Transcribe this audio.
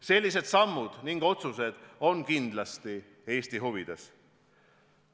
Sellised sammud ning otsused on kindlasti Eesti huvides.